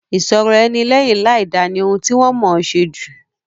Ìṣọ̀rọ̀-ẹni lẹ́yìn láìda ni ohun ti wọ́n mọ̀ọ́ ṣe jù.